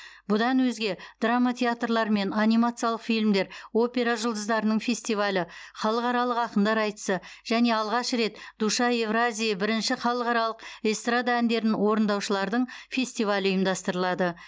бұдан өзге драма театрлары мен анимациялық фильмдер опера жұлдыздарының фестивалі халықаралық ақындар айтысы және алғаш рет душа евразии бірінші халықаралық эстрада әндерін орындаушылардың фестивалі ұйымдастырылады